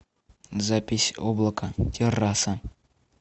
запись облака терраса